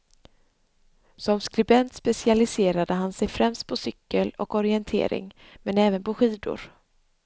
Som skribent specialiserade han sig främst på cykel och orientering men även på skidor.